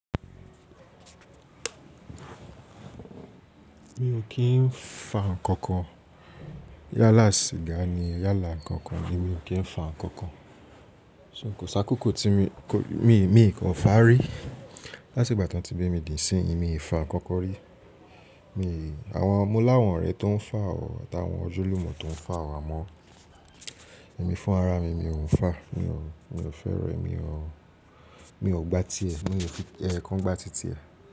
Mi ò kí ń fa ǹkankan. Yálà sìgá ni, yálà ǹkankan ni mi ò kí ń fa ǹkankan. So kò sakókó tí mi, mi, mi kan fà rí. Láti ìgbà tọ́n ti bi mi di ìsìnyii, mii fa ǹkankan rí. Mi, àwọn mo láwọ̀n orẹ tó ń fà ọ̀ tàwọn ọjulùmọ̀ tó ń fà àmọ́, èmi fún ara mi, mi ò ń fà. Mi ò, mi ò fẹ́ rẹ̀, mi ò, mi ò gbá tiẹ̀, mi ò fi ẹekan gbá ti tiẹ̀